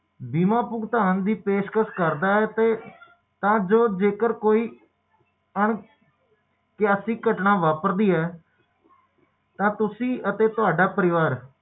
ਕੋਈ ਫਰਕ ਨਹੀਂ